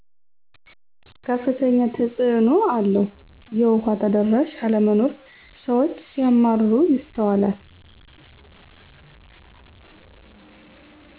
ከፍተኛ ተፅእኖ አለው የዉሃ ተደራሽ አለመኖር ስዎች ሲያማረሩ ይስተዋላል